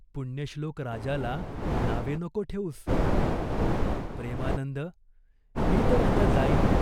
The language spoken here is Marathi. पुण्यश्लोक राजाला नावे नको ठेवूस." "प्रेमानंद, मी तर आता जाईन.